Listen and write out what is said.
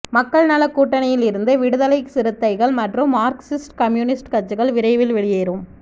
மக்கள் நலக் கூட்டணியில் இருந்து விடுதலைச் சிறுத்தைகள் மற்றும் மார்க்சிஸ்ட் கம்யூனிஸ்ட் கட்சிகள் விரைவில் வெளியேறும்